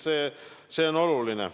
See on oluline.